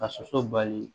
Ka soso bali